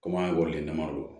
Komi an ye waliden damadɔ ye